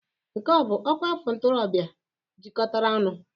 Nke a ọ bụ ọkwa afọ ntorobịa jikọtara ọnụ?